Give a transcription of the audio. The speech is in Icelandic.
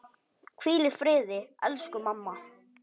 Hvíl í friði elsku mamma.